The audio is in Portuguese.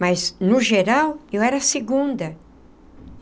Mas, no geral, eu era a segunda.